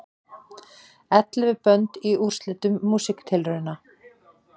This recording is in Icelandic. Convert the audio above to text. Ellefu bönd í úrslitum Músíktilrauna